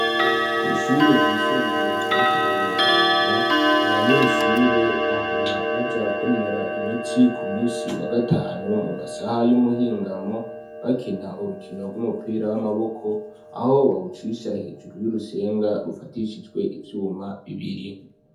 Kw'ishure ryisumbuye rya mutima mweranda, abanyeshure bahora baja kwinonora imitsi ku munsi wa gatanu mu masaha y'umuhingamo bakina urukino rw'umupira w'amaboko aho bahucisha hejuru y'urusenga rufatishijwe ibyuma bibiri.